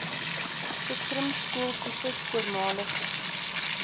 spektrum skooltipes voormalige